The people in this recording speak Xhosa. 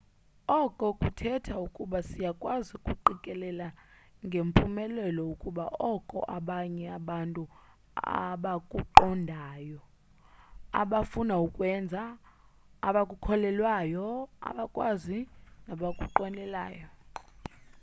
oko kuthetha ukuba siyakwazi ukuqikelela ngempumelelo ukuba oko abanye abantu abakuqondayo abafuna ukukwenza abakhukholelwayo abakwazi nabakunqwenelayo